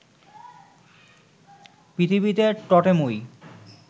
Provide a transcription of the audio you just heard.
পৃথিবীতে টোটেমই